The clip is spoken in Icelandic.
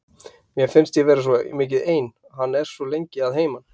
Mér finnst ég vera svo mikið ein, hann er svo lengi að heiman.